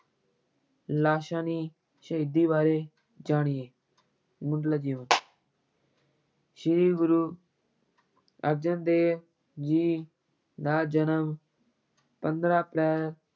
ਲਾਸ਼ਾਨੀ ਸ਼ਹੀਦੀ ਬਾਰੇ ਜਾਣੀਏ, ਮੁੱਢਲਾ ਜੀਵਨ ਸ੍ਰੀ ਗੁਰੂ ਅਰਜਨ ਦੇਵ ਜੀ ਦਾ ਜਨਮ ਪੰਦਰਾਂ ਅਪ੍ਰੈਲ,